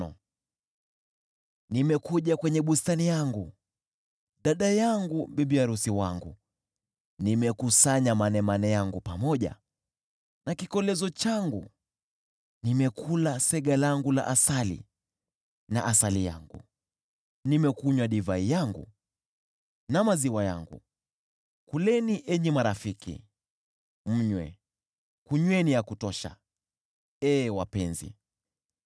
Nimekuja kwenye bustani yangu, dada yangu, bibi arusi wangu; nimekusanya manemane yangu pamoja na kikolezo changu. Nimekula sega langu la asali na asali yangu; nimekunywa divai yangu na maziwa yangu. Marafiki Kuleni, enyi marafiki, mnywe; kunyweni ya kutosha, ee wapenzi.